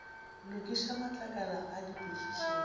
lokiša matlakala a dipotšišo le